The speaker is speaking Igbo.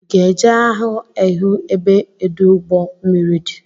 Ị ga-eje ahụ ehu ebe ọdụụgbọ mmiri di?